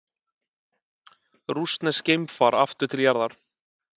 Rússneskt geimfar aftur til jarðar